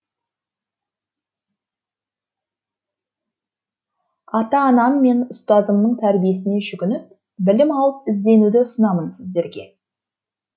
ата анам мен ұстазымның тәрбиесіне жүгініп білім алып ізденуді ұсынамын сіздерге